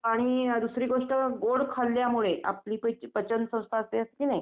आणि दुसरी गोष्ट गोड खाल्ल्यामुळे आपली पचनसंस्था असते की नाही